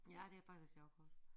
Ja det faktisk et sjovt kort